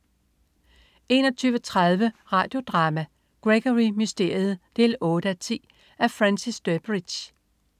21.30 Radio Drama: Gregory Mysteriet 8:10. Af Francis Durbridge